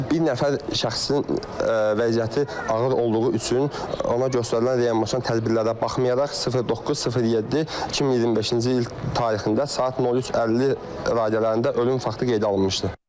Yəni bir nəfər şəxsin vəziyyəti ağır olduğu üçün ona göstərilən reanimasyon tədbirlərə baxmayaraq 09.07.2025-ci il tarixində saat 03:50 radələrində ölüm faktı qeydə alınmışdı.